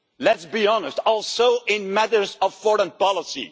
Let's be honest, also in matters of foreign policy.